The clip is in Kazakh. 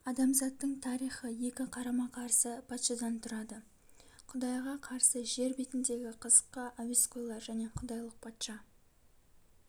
адамзаттың тарихы екі қарама-карсы патшадан тұрады құдайға қарсы жер бетіндегі қызыкқа әуесқойлар және құдайлық патша